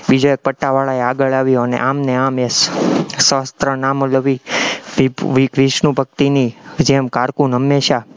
બીજા એક પટાવાળો આગળ આવ્યો ને આમ ને આમ એ સહસ્ત્ર નામ અલી વિષ્ણુ ભક્તિની જેમ cocoon હંમેશા